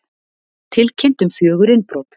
Tilkynnt um fjögur innbrot